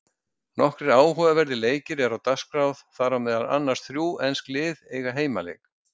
Nokkrir áhugaverðir leikir eru á dagskrá þar sem meðal annars þrjú ensk lið eiga heimaleik.